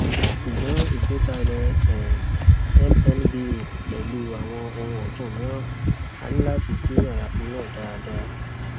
ṣùgbọn ìgbékalẹ um mnvo pẹlú àwọn ohun ọtun mìíràn a ní láti dí àlàfo náà dáadáa